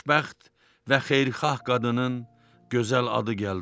Xoşbəxt və xeyirxah qadının gözəl adı gəldi ağlıma.